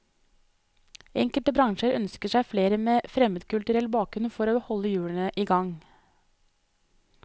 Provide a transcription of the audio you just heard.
Enkelte bransjer ønsker seg flere med fremmedkulturell bakgrunn for å holde hjulene i gang.